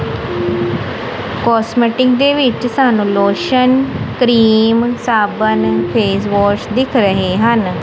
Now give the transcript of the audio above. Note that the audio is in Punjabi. ਕੋਸਮੈਟਿਕ ਦੇ ਵਿੱਚ ਸਾਨੂੰ ਲੋਸ਼ਨ ਕਰੀਮ ਸੱਬੁਨ ਫੇਸਵਾਸ਼ ਦਿੱਖ ਰਹੇ ਹਨ।